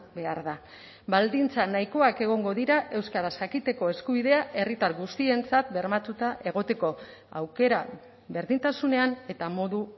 behar da baldintza nahikoak egongo dira euskaraz jakiteko eskubidea herritar guztientzat bermatuta egoteko aukera berdintasunean eta modu